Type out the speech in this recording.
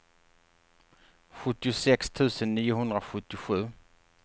sjuttiosex tusen niohundrasjuttiosju